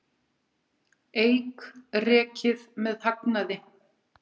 Eik rekið með hagnaði